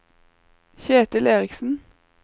Ketil Eriksen